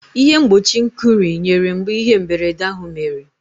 Ịhe mgbochi nkụrị nyere mgbe ihe mberede ahụ mere.